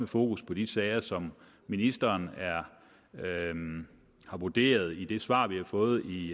fokus på de sager som ministeren har vurderet i det svar vi har fået i